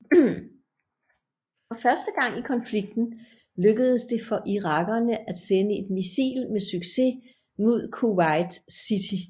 For første gang i konflikten lykkedes det for irakerne at sende et missil med succes mod Kuwait city